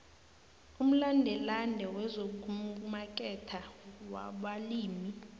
umlandelande wezokumaketha wabalimi